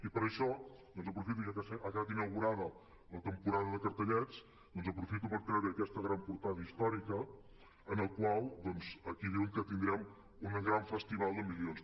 i per això aprofito ja que ha quedat inaugurada la temporada de cartellets doncs aprofito per treure aquesta gran portada històrica en la qual aquí diuen que tindrem un gran festival de milions